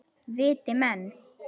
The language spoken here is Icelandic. Viti menn.